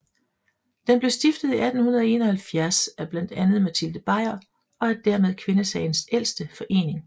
Den blev stiftet i 1871 af blandt andet Matilde Bajer og er dermed kvindesagens ældste forening